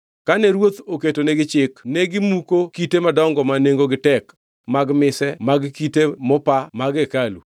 Kane ruoth oketonegi chik negimuko kite madongo ma nengogi tek mag mise mag kite mopa mag hekalu.